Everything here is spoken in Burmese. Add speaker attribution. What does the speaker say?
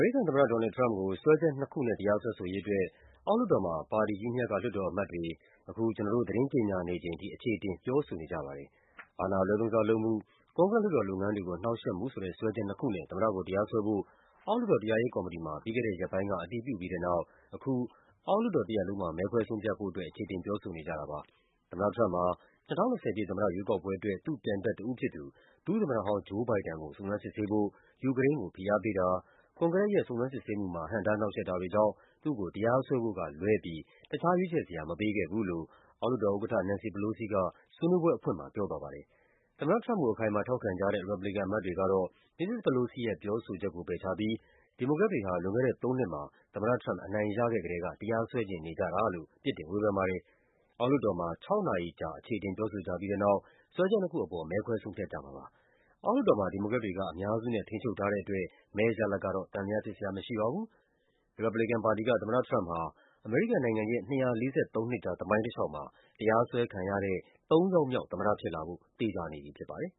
Speaker 1: ရိကန်သမ္မတ ဒေါ်နယ်လ်ဒ် ထရမ့်ပ်ကို စွဲချက်နှစ်ခုနဲ့ တရားစွဲဆိုရေးအတွက် အောက်လွှတ်တော်မှာ ပါတီကြီးနှစ်ရပ်က လွှတ်တော်အမတ်တွေ အချေအတင် ပြောဆိုနေကြပါတယ်။ အာဏာအလွဲသုံးစားလုပ်မှု၊ ကွန်ဂရက်လုပ်ငန်းတွေကို နှောင့်ယှက်မှု ဆိုတဲ့ စွဲချက်နှစ်ခုနဲ့ သမ္မတကိုတရားစွဲဖို့ အောက်လွှတ်တော် တရားရေးကော်မတီမှာ ပြီးခဲ့တဲ့ရက်ပိုင်းက အတည်ပြုပြီးတဲ့နောက် အခု အောက်လွှတ်တော် တရပ်လုံးမှာ မဲခွဲဆုံးဖြတ်ဖို့အတွက် အချေအတင် ပြောဆိုနေကြတာဖြစ်ပါတယ်။ သမ္မတထရမ့်ပ်ဟာ ၂၀၂၀ ပြည့် သမ္မတရွေးကောက်ပွဲ အတွက် သူ့ပြိုင်ဘက်တဦးဖြစ်သူ ဒုသမ္မတဟောင်း Joe Biden ကို စုံစမ်းစစ်ဆေးဖို့ ယူကရိန်း ကိုဖိအားပေးတာ၊ ကွန်ဂရက်ရဲ့ စုံစမ်းစစ်ဆေးမှုမှာ ဟန့်တားနှောင့်ယှက်တာတွေကြောင့် သူ့ကို တရားစွဲဖို့ကလွဲပြီး တခြား ရွေးချယ်စရာ မပေးခဲ့ဘူးလို့ အောက်လွှတ်တော်ဥက္ကဋ္ဌ Nancy Pelosi က ဆွေးနွေးပွဲ အဖွင့်မှာ ပြောသွားပါတယ်။ သမ္မတထရမ့်ကို အခိုင်အမာ ထောက်ခံကြတဲ့ ရီပတ်ဘလီကန် အမတ်တွေကတော့ မစ္စစ် Pelosi ရဲ့ ပြောဆိုချက်ကို ပယ်ချပြီး ဒီမိုကရက်တွေဟာ လွန်ခဲ့တဲ့သုံးနှစ်မှာ သမ္မတထရမ့်ပ် အနိုင်ရခဲ့ ကတည်းက တရားစွဲချင်နေကြတာလို့ ပြစ်တင်ဝေဖန်ပါတယ်။ အောက်လွှတ်တော်မှာ ၆ နာရီမှာ အချေအတင် ပြောဆိုကြပြီးတဲ့နောက် စွဲချက်နှစ်ခုအပေါ် မဲခွဲဆုံးဖြတ်ကြမှာဖြစ်ပါတယ်။ အောက်လွှတ်တော်မှာ ဒီမိုကရက်တွေက အများစုနဲ့ ထိန်းချုပ်ထားတဲ့အတွက် မဲရလဒ်ကတော့ သံသယဖြစ်စရာမရှိပါဘူး။ ရီပတ်ဘလီကန်ပါတီက သမ္မတ ထရမ့်ပ်ဟာ အမေရိကန်နိုင်ငံရဲ့ ၂၄၃ နှစ်ကြာ သမိုင်းတလျှောက်မှာ တရားစွဲခံရတဲ့ ၃ ယောက် မြောက် သမ္မတဖြစ်လာဖို့ သေချာနေပြီဖြစ်ပါတယ်